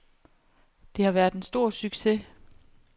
Det har været en stor succes.